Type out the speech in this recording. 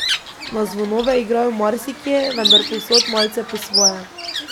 Na zvonove igrajo marsikje, vendar povsod malce po svoje.